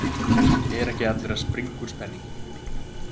Logi Bergmann Eiðsson: Eru ekki allir að springa úr spenningi?